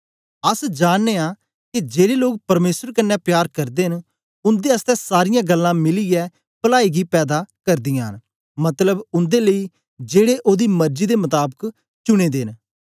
अस स जानने आं के जेड़े लोक परमेसर कन्ने प्यार करदे न उन्दे आसतै सारीयां गल्लां मिलीयै पलाई गी पैदा करदीयां न मतलब उन्दे लेई जेड़े ओदी मरजी दे मताबक चुनें दे न